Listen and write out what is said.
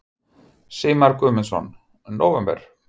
Sigmar Guðmundsson: Nóvember?